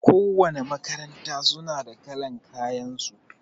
Ko wanna makaranta suna da kalan kayan su